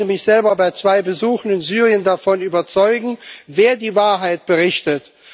Ich konnte mich selber bei zwei Besuchen in Syrien davon überzeugen, wer die Wahrheit berichtet.